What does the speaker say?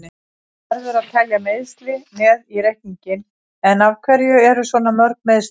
Það verður að telja meiðsli með í reikninginn, en af hverju eru svona mörg meiðsli?